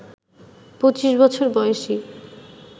২৫ বছর বয়সী